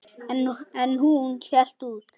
En hún hélt út.